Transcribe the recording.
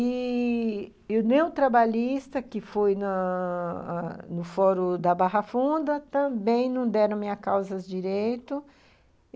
E... o neotrabalista que foi na no fórum da Barra Funda também não deram minha causas direito.